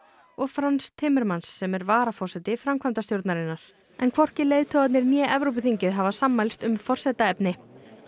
og Frans Timmermans sem er varaforseti framkvæmdastjórnarinnar en hvorki leiðtogarnir né Evrópuþingið hafa sammælst um forsetaefni